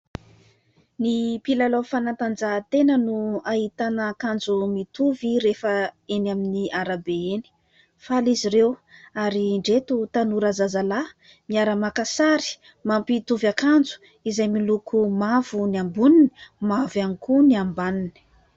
Ny mpilalao fanatanjahantena no ahitana akanjo mitovy rehefa eny amin'ny arabe eny. Fala izy ireo ary ndreto tanora zazalahy miara-maka sary mampitovy akanjo izay miloko mavo ny amboniny mavo ihany koa ny ambaniny.